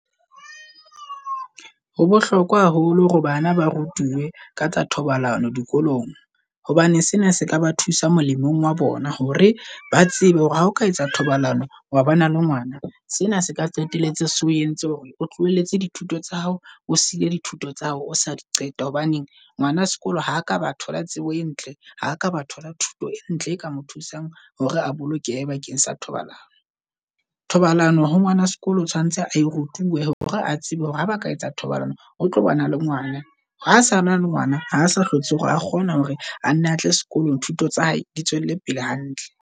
Ho bohlokwa haholo hore bana ba rutuwe ka tsa thobalano dikolong. Hobane sena se ka ba thusa molemong wa bona hore ba tsebe hore ha oka etsa thobalano wa bona le ngwana. Sena se ka qetelletse so o entse hore o tlohelletse di thuto tsa hao, o siile di thuto tsa hao o sa di qeta. Hobane ngwana sekolo ha ka batho la tsebo e ntle. Ha ka ba thola thuto e ntle e ka mo thusang hore a bolokehe bakeng sa thobalano. Thobalano ho ngwana sekolo o tshwanetse ae rutuwe hore a tsebe hore ha ba ka etsa thobalano o tlobana le ngwana. Ha sana le ngwana, ha sa hlotse hore a kgona hore a ne a tle sekolong. Thuto tsa hae di tswelle pele hantle.